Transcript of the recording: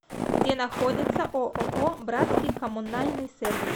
где находится ооо братский коммунальный сервис